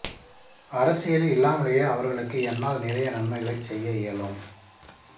அரசியலில் இல்லாமலேயே அவர்களுக்கு என்னால் நிறைய நன்மைகளைச் செய்ய இயலும்